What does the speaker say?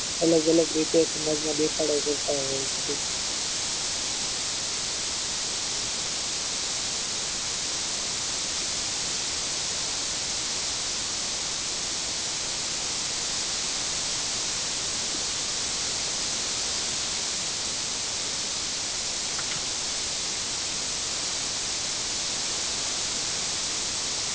અલગ અલગ રીતે સમાજમાં દેખાડો કરતા હોય છે